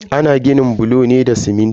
Ana ginin bulo ne da siminti.